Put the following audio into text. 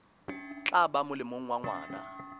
tla ba molemong wa ngwana